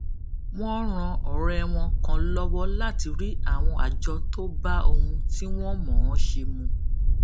wón ran òré wọn kan lówó láti rí àwọn àjọ tó bá ohun tí wón mò ón ṣe mu